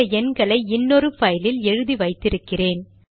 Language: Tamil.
சில எண்களை இன்னொரு பைலில் எழுதி வைத்தி இருக்கிறேன்